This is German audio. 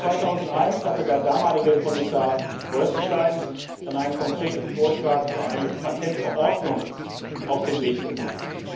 Im Jahre 2001 hatte der damalige Kommissar Bolkestein einen konkreten Vorschlag für eine Patentverordnung auf den Weg gebracht.